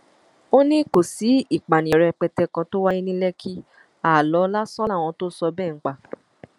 ó ní kò sí ìpànìyàn rẹpẹtẹ kan tó wáyé ní lẹkì aálọ lásán làwọn tó sọ bẹẹ ń pa